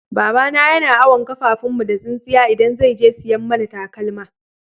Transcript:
Baba na yana awon kafafun mu da tsinsiya idan zai je siyan mana takalma.